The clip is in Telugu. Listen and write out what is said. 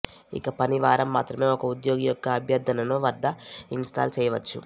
ఇక పని వారం మాత్రమే ఒక ఉద్యోగి యొక్క అభ్యర్థనను వద్ద ఇన్స్టాల్ చేయవచ్చు